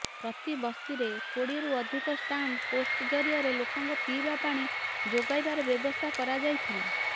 ପ୍ରତି ବସ୍ତିରେ କୋଡିଏରୁ ଅଧିକ ଷ୍ଟାଣ୍ଡ ପୋଷ୍ଟ ଜରିଆରେ ଲୋକଙ୍କୁ ପିଇବା ପାଣି ଯୋଗାଇବାର ବ୍ୟବସ୍ଥା କରାଯାଇଥିଲା